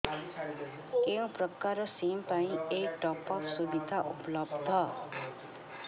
କେଉଁ ପ୍ରକାର ସିମ୍ ପାଇଁ ଏଇ ଟପ୍ଅପ୍ ସୁବିଧା ଉପଲବ୍ଧ